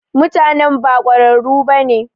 Mutanan ba kwararu bane.